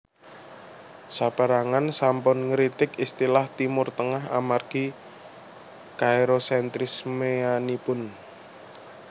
Sapérangan sampun ngritik istilah Timur Tengah amargi kaErosentrismeanipun